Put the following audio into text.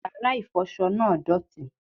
Yàrá ìfọṣọ náà dọ̀tí